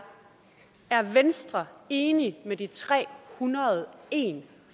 er venstre enig med de tre hundrede og en